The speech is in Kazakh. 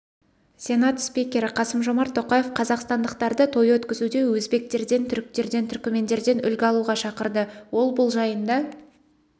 сенат спикері қасым-жомарт тоқаев қазақстандықтарды той өткізуде өзбектерден түріктерден түркімендерден үлгі алуға шақырды ол бұл жайында